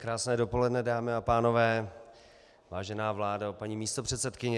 Krásné dopoledne, dámy a pánové, vážená vládo, paní místopředsedkyně.